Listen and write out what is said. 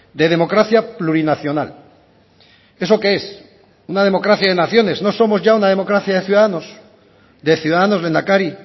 de democracia plurinacional eso que es una democracia de naciones no somos ya una democracia de ciudadanos de ciudadanos lehendakari